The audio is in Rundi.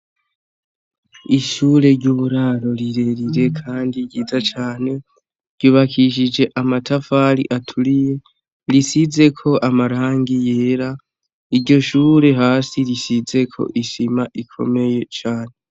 Ishuri ry'uburaro rirerire kandi ryiza cane ryubakishije amatafari aturiye risizeko amarangi yera iryo shuri hasi risizeko isima ikomeye cane.